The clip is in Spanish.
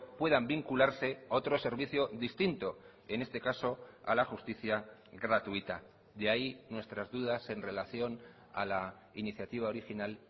puedan vincularse a otro servicio distinto en este caso a la justicia gratuita de ahí nuestras dudas en relación a la iniciativa original